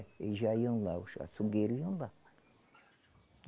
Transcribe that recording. Eles já iam lá, os açougueiros iam lá.